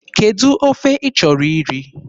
Kedụ ofe ị chọrọ iri?